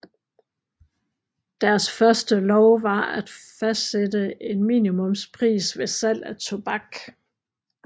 Deres første lov var at fastsætte en minimumspris ved salg af tobak